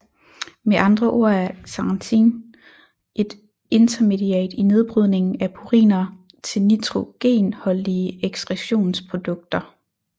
Med andre ord er xanthin et intermediat i nedbrydningen af puriner til nitrogenholdige ekskretionsprodukter